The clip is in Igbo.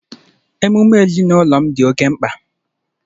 Emume ezinụlọ m dị oke mkpa